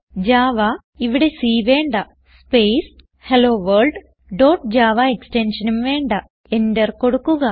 Java ഇവിടെ C വേണ്ട space hello world dot Java എക്സ്റ്റെൻഷൻഉം വേണ്ട Enter കൊടുക്കുക